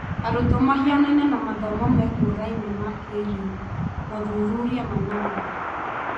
Arutwo mahianaine na mathomo mekũraime ma kĩĩrĩu ( mothuthuria manana)